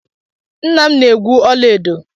Nna m na-egwu ọla edo.